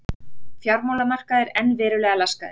Fjármálamarkaðir enn verulega laskaðir